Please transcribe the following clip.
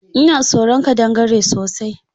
Ina tsoron ƙadangare sosai.